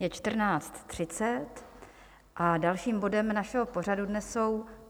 Je 14.30, a dalším bodem našeho pořadu dnes jsou